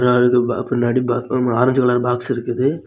பின்னாடி orange colour box இருக்குது.